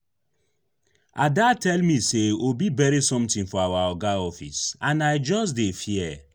Ada tell me say Obi bury something for our Oga office and I just dey fear